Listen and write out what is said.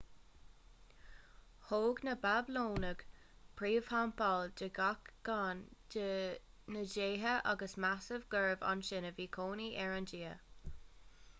thóg na bablónaigh príomhtheampall do gach ceann dá ndéithe agus measadh gurb ansin a bhí cónaí ar an dia